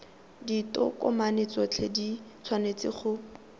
ditokomane tsotlhe di tshwanetse go